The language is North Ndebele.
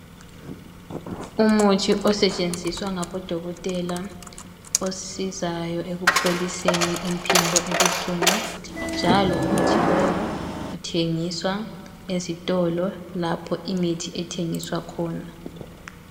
Umuthi osetshenziswa ngabodokotela osizayo ekupholiseni imphimbo obuhlungu njalo umuthi lowu uthengiswa ezitolo lapho imithi ethengiswa khona.